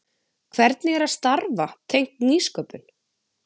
Hvernig er að starfa tengt nýsköpun?